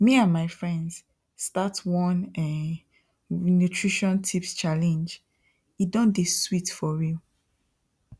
me and my friends start one um nutrition tips challengee don dey sweet for real